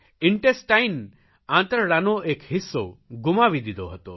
intestine આંતરડાનો એક હિસ્સો ગુમાવી દીઘો હતો